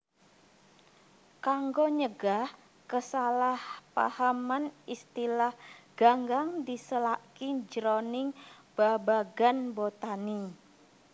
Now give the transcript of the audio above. Kanggo nyegah kasalahpahaman istilah ganggang disélaki jroning babagan botani